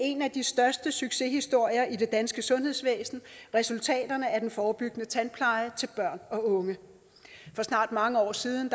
en af de største succeshistorier i det danske sundhedsvæsen resultaterne af den forebyggende tandpleje til børn og unge for snart mange år siden